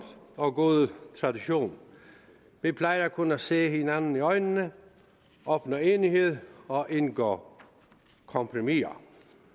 og gode tradition vi plejer at kunne se hinanden i øjnene opnå enighed og indgå kompromiser